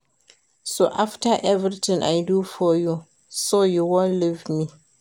So after everything I do for you, you wan leave me